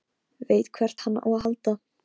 Veit hvert hann á að halda.